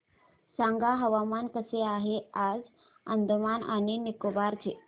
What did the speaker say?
सांगा हवामान कसे आहे आज अंदमान आणि निकोबार चे